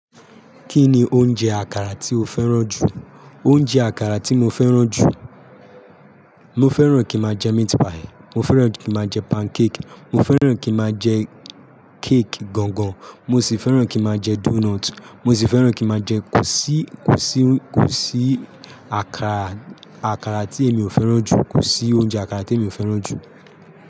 Kí ni oúnjẹ àkàrà tí o fẹ́ràn jù? Oúnjẹ àkàrà tí mo fẹ́ràn jù, mo fẹ́ràn kí n máa jẹ meat pie, mo fẹ́ràn kí n máa jẹ pancake, mo fẹ́ràn kí n máa jẹ cake gangan, mo sì fẹ́ràn kí n máa jẹ doughnut, mo sì fẹ́ràn kí n máa jẹ kò sí, kò sí, kò sí àkàrà, àkàrà tí èmi ò fẹ́ràn jù, kò sí oúnjẹ àkàrà tí èmi ò fẹ́ràn jù.